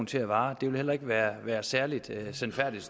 til at vare det ville heller ikke være være særlig sandfærdigt